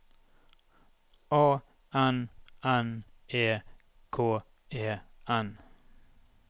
A N N E K E N